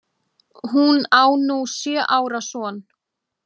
Hún á nú sjö ára son.